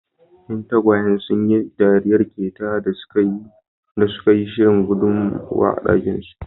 Ƴan tagwayen sun yi dariyar ƙetayayin da suka yi da suka yi shirin guduwa a dakinsu.